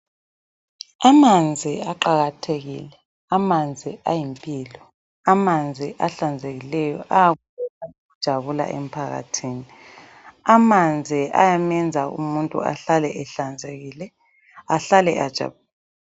Amanzi aqakathekile, amanzi ayimpilo. Amanzi ahlanzekileyo ayinjabulo emphakathini. Amanzi ayamenza umuntu ahlale ehlanzekile ahlale ejabulile.